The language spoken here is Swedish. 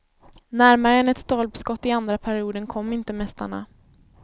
Närmare än ett stolpskott i andra perioden kom inte mästarna.